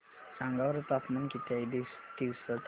सांगा बरं तापमान किती आहे तिवसा तालुक्या चे